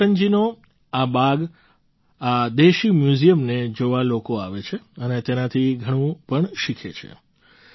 રામલોટનજીનો આ બાગ આ દેશી મ્યૂઝિયમને જોવા લોકો આવે છે અને તેનાથી પણ શીખે છે